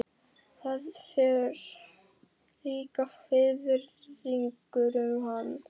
Það fer líka fiðringur um hann.